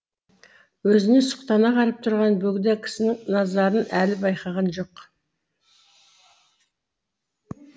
өзіне сұқтана қарап тұрған бөгде кісінің назарын әлі байқаған жоқ